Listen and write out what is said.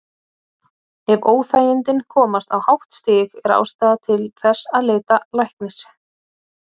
Ef óþægindin komast á hátt stig er ástæða til þess að leita læknis.